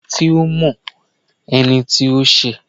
kòsí ẹni tí ọ mọ ẹnití o ṣe